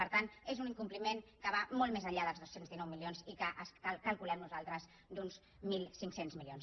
per tant és un incompliment que va molt més enllà dels dos cents i dinou milions i que calculem nosaltres d’uns mil cinc cents milions